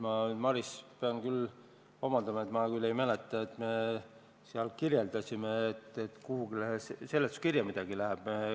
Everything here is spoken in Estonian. Ma, Maris, pean vabandama, sest mina küll ei mäleta, et me oleksime seal kirjeldanud, et kuhugi seletuskirja midagi läheb.